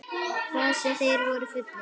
Hvað sem þeir voru fullir.